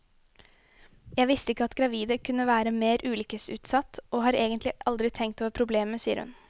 Jeg visste ikke at gravide kunne være mer ulykkesutsatt, og har egentlig aldri tenkt over problemet, sier hun.